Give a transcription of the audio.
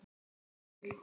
Þetta er frábær bíll.